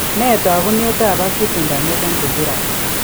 Nee taakunetaab Acute intermittent porphyria?